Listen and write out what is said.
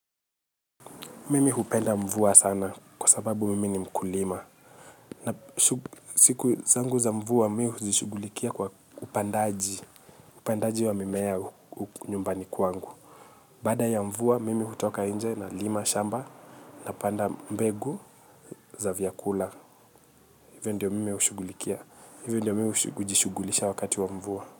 Mimi hupenda mvua sana kwa sababu mimi ni mkulima. Siku zangu za mvua mimi huzishughulikia kwa upandaji upandaji wa mimea nyumbani kwangu. Baada ya mvua, mimi hutoka nje nalima shamba napanda mbegu za vyakula. Hivyo ndio mimi hushughulikia. Hivyo ndiyo mimi hujiishughulisha wakati wa mvua.